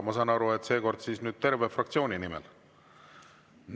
Ma saan aru, et seekord terve fraktsiooni nimel.